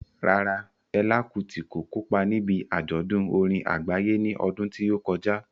Rárá, Fela Kuti kò kópa níbi àjọ̀dún orin àgbáyé ní ọdún tí ó kọjá.